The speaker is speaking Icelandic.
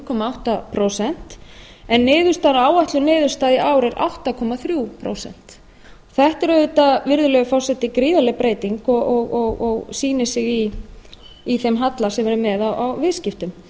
komma átta prósent en áætluð niðurstaða í ár er átta komma þrjú prósent þetta er auðvitað virðulegi forseti gríðarleg breyting og sýnir sig í þeim halla sem við erum með á viðskiptum